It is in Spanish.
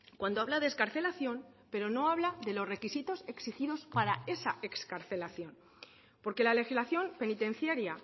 cuando habla de excarcelación pero no habla de los requisitos exigidos para esa excarcelación porque la legislación penitenciaria